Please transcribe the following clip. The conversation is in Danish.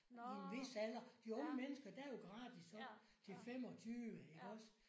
I en hvis alder. De unge mennesker der er jo gratis op til 25 iggås